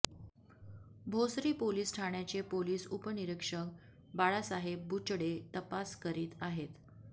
Bhosari police ठाण्याचे police उपनिरीक्षक बाळासाहेब बुचडे तपास करीत आहेत